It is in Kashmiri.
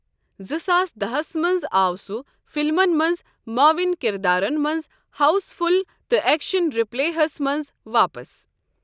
زٕ ساس داہس منٛز آو سُہ فِلمن منٛز، معاوِن كِردارن منٛز، ہاوُس فُل تہٕ ایكشن رِپلے ہس منٛز واپس ۔